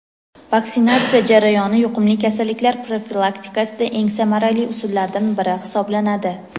vaksinatsiya jarayoni yuqumli kasalliklar profilaktikasida eng samarali usullardan biri hisoblanadi.